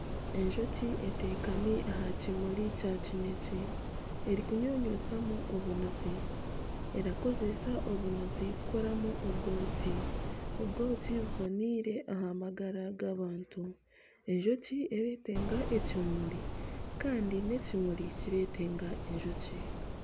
Enjoki eteekami aha kimuri kya kinekye, erikunyunyusamu obunuzi. Erakozesa obunuzi kukoramu obwoki. Obwoki buboneire aha magara g'abantu, enjoki eretenga ekimuri kandi n'ekimuri kiretenga enjoki.